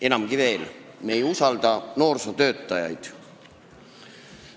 Enamgi veel: me ei usalda noorsootöötajaid.